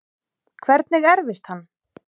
Hvernig erfist hann?